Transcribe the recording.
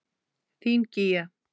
Þín Gígja.